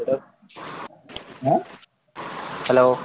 hello